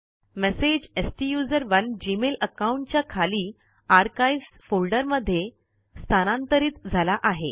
message स्टुसरोने Gmail account च्या खाली आर्काइव्ह्ज फोल्डर मध्ये स्थानांतरीत झाला आहे